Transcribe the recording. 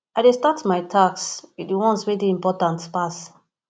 i dey start my tasks wit di ones wey dey important pass